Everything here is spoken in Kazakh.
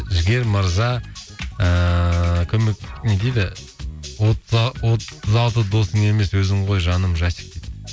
жігер мырза ііі көмек не дейді отыз алты досың емес өзің ғой жаным жасик дейді